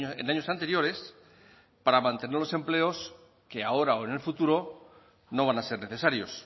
en años anteriores para mantener los empleos que ahora o en el futuro no van a ser necesarios